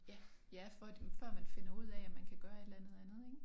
Ja ja for før man finder ud af at man kan gøre et eller andet andet ik